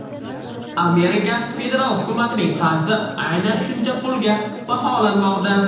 Amerika federal hukumatining qarzi aynan shuncha pulga baholanmoqda.